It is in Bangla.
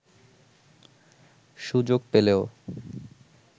সুযোগ পেলেও